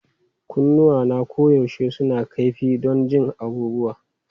Kunnuwana koyaushe suna kaifi don jin abubuwa.